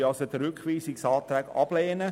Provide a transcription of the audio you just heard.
Wir werden also den Rückweisungsantrag ablehnen.